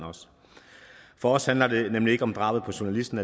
for os handler det nemlig ikke alene om drabet på journalisten